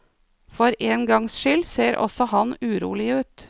For en gangs skyld ser også han urolig ut.